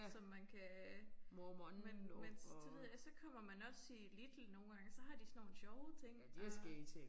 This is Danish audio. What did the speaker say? Som man kan. Men men det ved jeg så kommer man også i Lidl nogle gange så har de sådan nogle sjove ting og